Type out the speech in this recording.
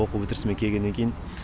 оқу бітірсімен келгеннен кейін